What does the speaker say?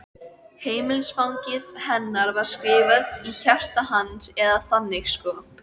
Heimilisfangið hennar var skrifað í hjarta hans, eða þannig sko.